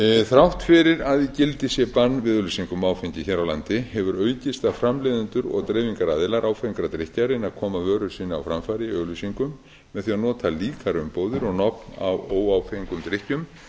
þrátt fyrir að í gildi sé bann við auglýsingum á áfengi hér á landi hefur aukist að framleiðendur og dreifingaraðilar áfengra drykkja reyni að koma vöru sinni á framfæri í auglýsingum með því að nota líkar umbúðir og nöfn á óáfengum drykkjum